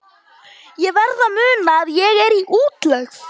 Ég verð að muna að ég er í útlegð.